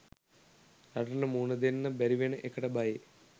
රටට මූණදෙන්න බැරිවෙන එකට බයේ